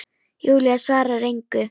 Júlía svarar engu.